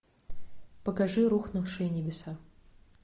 покажи рухнувшие небеса